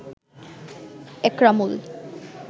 Ekramul